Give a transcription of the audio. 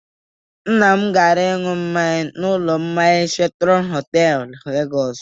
Nna m gara ịṅụ mmanya n'ụlọ mmanya Sheratọn Họtelụ, Legọsị.